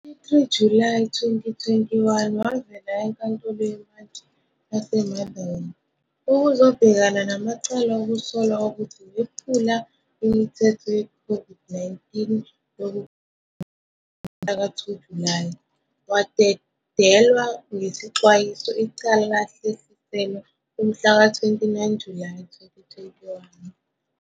23 Julayi 2021,wavela eNkantolo yeMantshi yaseMotherwell ukuzobhekana namacala okusolwa ukuthi wephula imithetho ye-COVID-19 yokukhiya ngomhlaka 2 Julayi. Wadedelwa ngesexwayiso, icala lahlehliselwa umhlaka 29 Julayi 2021.